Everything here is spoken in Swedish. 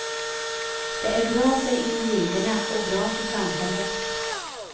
Det är bra för individerna och bra för samhället.